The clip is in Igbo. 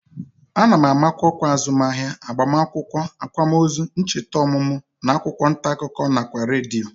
A na-amakwa ọkwa azụmahịa, agbamakwụkwọ, akwamozu, ncheta ọmụmụ n'akwụkwọ ntaakụkọ nakwa redio